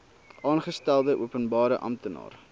aangestelde openbare amptenaar